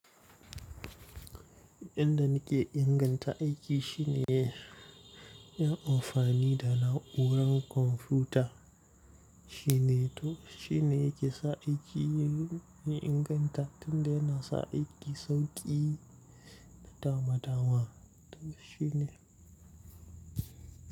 Inda nake inganta aiki shine yin amfani da na'urar kwamfuta shine to shine yake sa aiki ya inganta tunda yana sa aiki sauki da dama dama to shine.